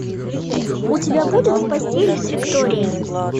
у тебя будет в постели с викторией